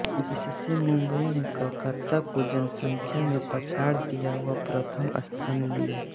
इससे मुंबई ने कलकत्ता को जनसंख्या में पछाड़ दिया व प्रथम स्थान लिया